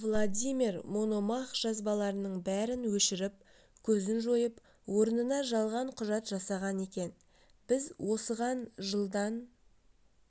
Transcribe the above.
владимир мономах жазбалардың бәрін өшіріп көзін жойып орнына жалған құжат жасаған екен біз осыған жылдан